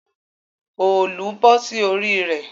òòlù bọ́ sí orí rẹ̀